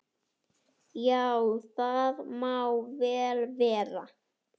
Já, það má vel vera.